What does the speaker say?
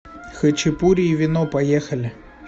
хачапури и вино поехали